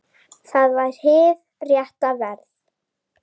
Það var hið rétta verð.